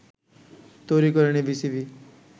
তৈরি করেনি বিসিবি